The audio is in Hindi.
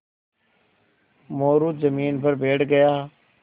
मोरू ज़मीन पर बैठ गया